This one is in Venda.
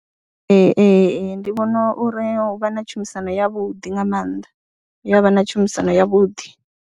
Ee, ee, ndi vhona uri hu vha na tshumisano yavhuḓi nga maanḓa hu ya vha na tshumisano yavhuḓi.